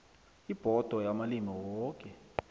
ibhodo yamalimi woke